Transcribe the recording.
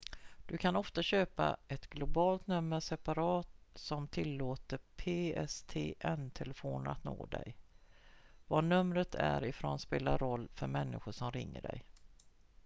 du kan ofta köpa ett globalt nummer separat som tillåter pstn-telefoner att nå dig var numret är ifrån spelar roll för människor som ringer dig